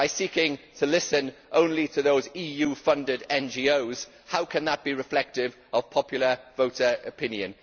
By seeking to listen only to those EU funded NGOs, how can that be reflective of popular voter opinion?